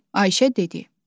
Ayşə dedi: